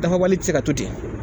Dafabali tɛ se ka to ten,